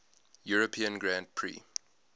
european grand prix